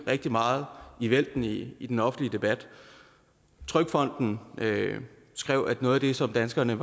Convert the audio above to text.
rigtig meget i vælten i i den offentlige debat trygfonden skrev at noget af det som danskerne